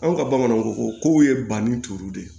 Anw ka bamananw ko kow ye banni turu de